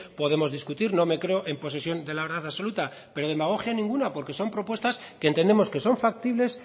podemos discutir no me creo en posesión de la verdad absoluta pero demagogia ninguna porque son propuestas que entendemos que son factibles